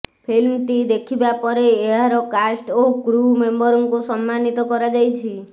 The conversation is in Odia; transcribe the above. ଫିଲ୍ମଟି ଦେଖିବା ପରେ ଏହାର କାଷ୍ଟ୍ ଓ କ୍ରୁ ମେମ୍ବରଙ୍କୁ ସମ୍ମାନିତ କରାଯାଇଛି